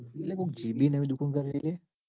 કોઈક જીગી ને એવી દુકાન કરી હે.